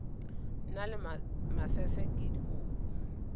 na le masese ke dikobo